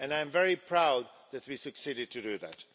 And I am very proud that we succeeded in doing that.